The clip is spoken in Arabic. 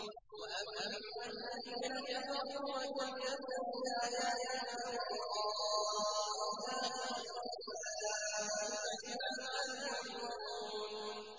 وَأَمَّا الَّذِينَ كَفَرُوا وَكَذَّبُوا بِآيَاتِنَا وَلِقَاءِ الْآخِرَةِ فَأُولَٰئِكَ فِي الْعَذَابِ مُحْضَرُونَ